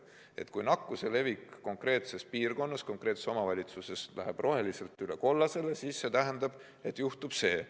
Kui nakkuse levik konkreetses piirkonnas, konkreetses omavalitsuses läheb roheliselt üle kollasele, siis see tähendab, et juhtub vaat see.